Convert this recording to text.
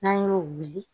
N'an y'o wuli